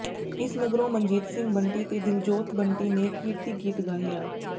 ਇਸ ਮਗਰੋਂ ਮਨਜੀਤ ਸਿੰਘ ਬੰਟੀ ਤੇ ਦਿਲਜੋਤ ਬੰਟੀ ਨੇ ਕਿਰਤੀ ਗੀਤ ਗਾਇਆ